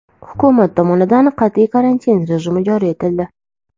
Hukumat tomonidan qat’iy karantin rejimi joriy etildi.